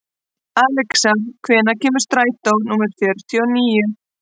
Alexa, hvenær kemur strætó númer fjörutíu og níu?